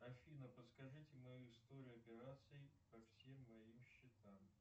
афина подскажите мою историю операций по всем моим счетам